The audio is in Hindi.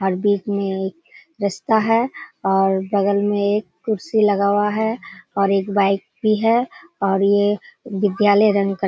और बीच में एक रास्ता है और बगल में एक कुर्सी लगा हुआ है और एक बाइक भी है और ये बिद्यालय रंग कर --